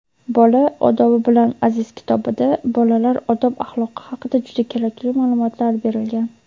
"Bola – odobi bilan aziz" kitobida bolalar odob-axloqi haqida juda kerakli ma’lumotlar berilgan.